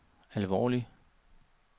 alvorlig